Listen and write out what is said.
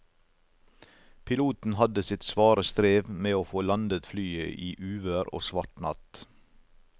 Piloten hadde sitt svare strev med å få landet flyet i uvær og svart natt.